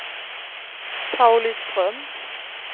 Pauliström